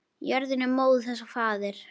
Jörðin er móðir þess og faðir.